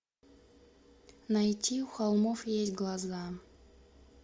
найти у холмов есть глаза